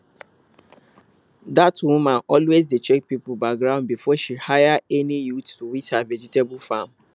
dat woman always dey check people background before she hire any youth to weed her vegetable farm